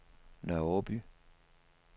Nørre Aaby